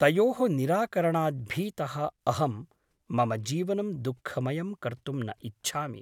तयोः निराकरणात् भीतः अहं मम जीवनं दुःखमयं कर्तुं न इच्छामि ।